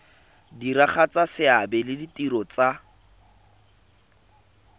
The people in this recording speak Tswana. diragatsa seabe le ditiro tsa